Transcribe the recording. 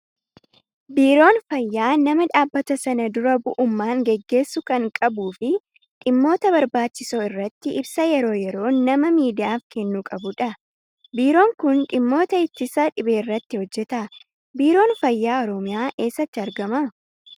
Biiroon fayyaa nama dhaabbata sana dura bu'ummaan gaggeessu kan qabuu fi dhimmoota barbaachisoo irratti ibsa yeroo yeroon nama miidiyaaf kennuu qabudha. Biiroon kun dhimmoota ittisa dhibeerratti hojjata. Biiroon fayyaa oromiyaa eessatti argama?